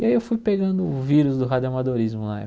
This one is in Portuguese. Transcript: E aí eu fui pegando o vírus do radiamadorismo